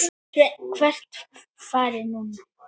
Sveinn: Hvert farið þið núna?